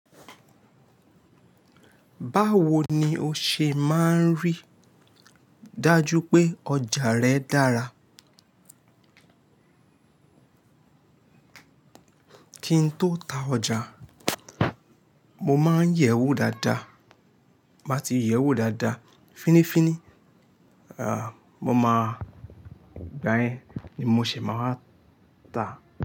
Báwo ni o ṣe máa ń rí dájú pé ọjà rẹ dára? Kí n tó ta ọjà, mo máa ń yẹ̀ ẹ́ wò dáadáa. Máa ti yẹ̀ ẹ́ wò dáadáa, fínnífínní, mo máa gban ẹ, ni mo ṣe máa wáa ta.